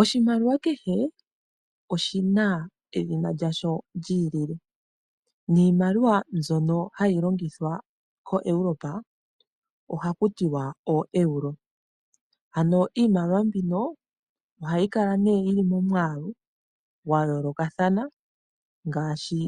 Oshimaliwa kehe oshi na edhina lyasho lyiilile niimaliwa mbyono hayi longithwa koEuropa oha ku tiwa oEuro ano iimaliwa mbino oha yi kala nee yili momwaalu gwa yoolokathana ngaashi